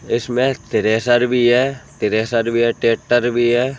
इसमें थ्रेशर भी है थ्रेशर भी है ट्रैक्टर भी है।